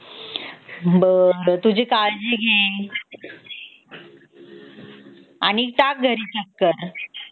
बर तुझी काळजी घे आणि टाक घरी चक्कर